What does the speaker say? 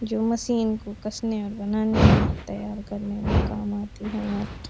जो मशीन को कसने में बनाने में तैयार करने में काम आती है नट --